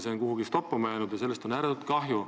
See on kuhugi toppama jäänud ja sellest on ääretult kahju.